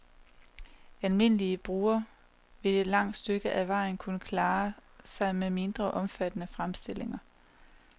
Almindelige brugere vil et langt stykke ad vejen kunne klare sig med mindre omfattende fremstillinger.